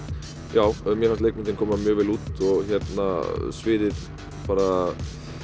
já mér fannst leikmyndin koma mjög vel út og sviðið bara